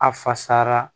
A fasara